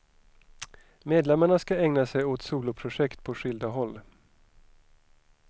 Medlemmarna ska ägna sig åt soloprojekt på skilda håll.